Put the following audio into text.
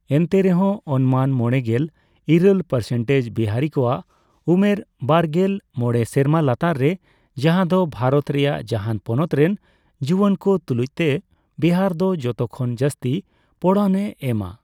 ᱮᱱᱛᱮᱨᱮᱦᱚᱸ ᱚᱱᱢᱟᱱ ᱢᱚᱲᱮᱜᱮᱞ ᱤᱨᱟᱹᱞ ᱯᱟᱨᱥᱮᱱᱴᱮᱡᱽ ᱵᱤᱦᱟᱨᱤ ᱠᱚᱣᱟᱜ ᱩᱢᱮᱨ ᱵᱟᱨᱜᱮᱞ ᱢᱚᱲᱮ ᱥᱮᱨᱢᱟ ᱞᱟᱛᱟᱨ ᱨᱮ, ᱡᱟᱦᱟᱸ ᱫᱚ ᱵᱷᱟᱨᱚᱛ ᱨᱮᱭᱟᱜ ᱡᱟᱦᱟᱸᱱ ᱯᱚᱱᱚᱛ ᱨᱮᱱ ᱡᱩᱭᱟᱹᱱ ᱠᱚ ᱛᱩᱞᱩᱡᱽᱛᱮ ᱵᱤᱦᱟᱨ ᱫᱚ ᱡᱚᱛᱚ ᱠᱷᱚᱱ ᱡᱟᱥᱛᱤ ᱯᱚᱲᱚᱱᱼᱮ ᱮᱢᱟ ᱾